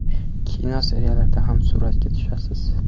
Kino, seriallarda ham suratga tushasiz.